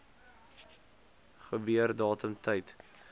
gebeur datum tyd